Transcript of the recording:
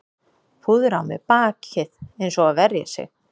Púðra á mér bakið eins og að verja sig